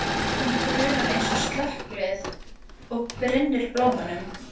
Hún brunar eins og slökkvilið og brynnir blómunum.